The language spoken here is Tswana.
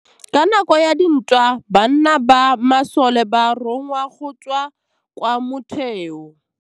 Ka nakô ya dintwa banna ba masole ba rongwa go tswa kwa mothêô.